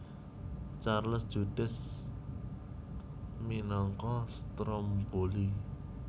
Charles Judels minangka Stromboli